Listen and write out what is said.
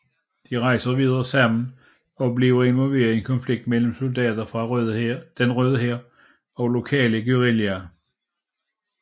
De rejser videre sammen og bliver involveret i en konflikt mellem soldater fra Den Røde Hær og lokale guerrillaer